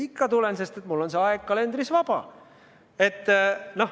Ikka tulen, sest mul on see aeg kalendris vaba.